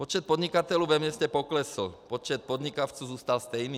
Počet podnikatelů ve městě poklesl, počet podnikavců zůstal stejný.